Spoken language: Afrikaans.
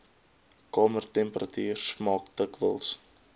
kamertemperatuur smaak dikwels